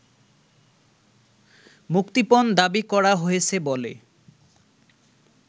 মুক্তিপণ দাবি করা হয়েছে বলে